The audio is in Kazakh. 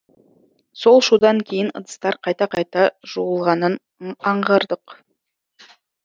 сол шудан кейін ыдыстар қайта қайта жуылғанын аңғардық